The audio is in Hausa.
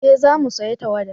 eh za mu saya tawada